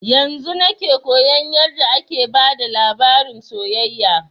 Yanzun nake koyan yarda ake bada labarin soyayya